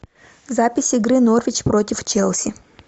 запись игры норвич против челси